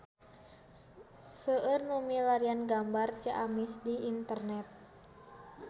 Seueur nu milarian gambar Ciamis di internet